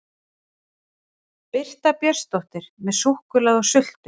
Birta Björnsdóttir: Með súkkulaði og sultu?